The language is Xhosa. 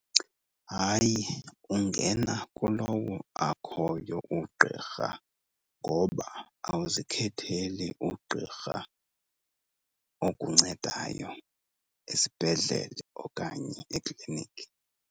Hayi, ungena kulowo akhoyo ugqirha ngoba awuzikhetheli ugqirha okuncedayo esibhedlele okanye ekliniki.